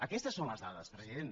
aques tes són les dades president